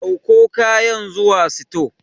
Ɗauko kayan zuwa sito.